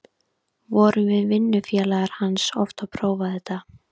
Vorum við vinnufélagar hans oft að prófa þetta.